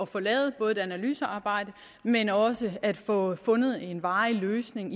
få lavet et analysearbejde men også at få fundet en varig løsning